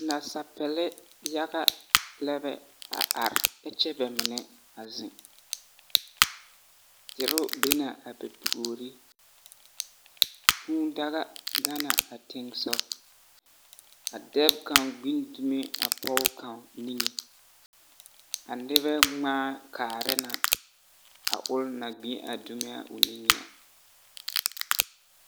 Nasapele yaga lɛbɛ a are ɛkyɛ bɛ mine a zeŋ dero be na a bɛ puori. Kũũ daga gana a teŋsog. dɛb kaŋ gbin dume a pɔge kaŋ niŋe. A nebɛ ŋmaa kaarɛ na a ol na gbi a niŋe a.